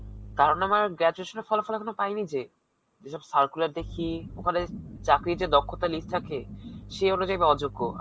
কারণ, আমার graduation এর ফলাফল পাইনি যে. যেসব circular দেখি ওখানে চাকরীর দক্ষতার যে list থাকে, সেঅনুজাই আমি অযোগ্য.